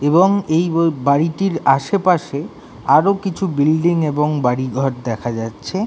এবং এই ব বাড়িটির আশেপাশে আরো কিছু বিল্ডিং এবং বাড়িঘর দেখা যাচ্ছে-এ।